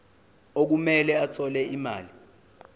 okumele athole imali